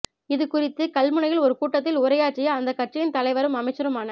இது குறித்து கல்முனையில் ஒரு கூட்டத்தில் உரையாற்றிய அந்தக் கட்சியின் தலைவரும் அமைச்சருமான